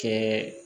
Kɛ